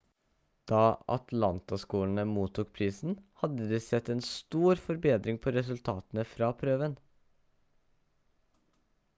da atlantaskolene mottok prisen hadde de sett en stor forbedring på resultatene for prøven